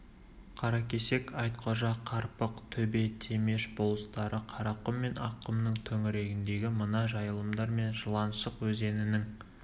қаракесек айтқожа қарпық төбе темеш болыстары қарақұм мен аққұмның төңірегіндегі мына жайылымдар мен жыланшық өзенінің